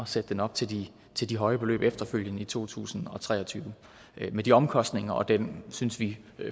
sætte den op til de til de høje beløb efterfølgende i to tusind og tre og tyve med de omkostninger og den synes vi